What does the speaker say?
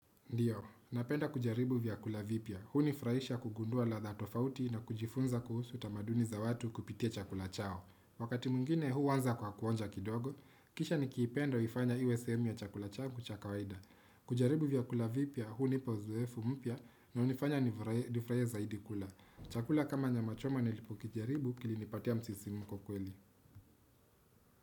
Ndiyo, napenda kujaribu vyakula vipya. Hunifraisha kugundua ladha tofauti na kujifunza kuhusu tamaduni za watu kupitia chakula chao. Wakati mwingine huwanza kwa kuonja kidogo, kisha ni kiipenda huifanya iwe sehemu ya chakula changu cha kawaida. Kujaribu vyakula vipya, hunipa uzoefu mpya na hunifanya nifuraie zaidi kula. Chakula kama nyama choma nilipo kijaribu kilinipatia msisimuko kweli.